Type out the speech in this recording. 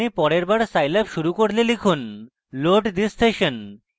আপনি পরের বার scilab শুরু করলে লিখুন load thissession